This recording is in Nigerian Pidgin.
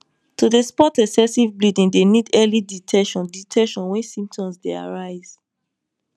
to dey spot excessive bleeding dey need early detection detection wen symptoms dey arise